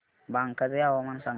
बांका चे हवामान सांगा